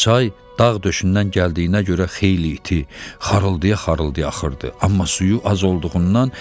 Çay dağ döşündən gəldiyinə görə xeyli iti, xarılldaya-xarılldaya axırdı, amma suyu az olduğundan